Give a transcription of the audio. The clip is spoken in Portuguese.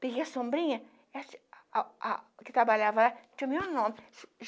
Peguei a sombrinha, a a a que trabalhava lá, tinha o meu nome.